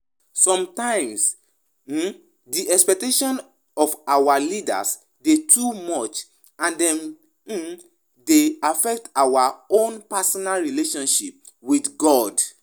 Sometimes, um di expectations of our leaders dey too much and dem um dey affect our own personal relatioship with God.